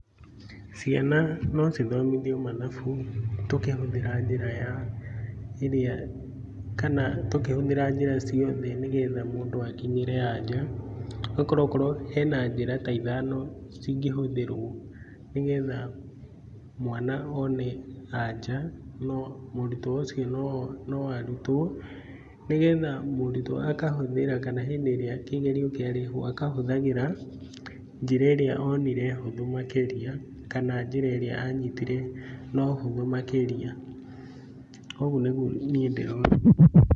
Ciana no ithomithio mathabu tũkĩhũthĩra njĩra ya, iria, kana tũkĩhũthĩra njĩra ciothe nĩgetha mũndũ akinyĩre anja, nĩ gũkorwo hena njĩra ta ithano cingĩhũthĩrwo nĩgetha mwana one anja, no mũrutwo ũcio no arutwo nĩgetha mũrutwo akahũthĩra kana hĩndĩ ĩrĩa kĩgerio kĩa rehwo akahũthagĩra njĩra onire hũthũ makĩria kana njĩra ĩrĩa anyitĩte no hũthũ makĩria ũguo nĩguo niĩ ndĩrona.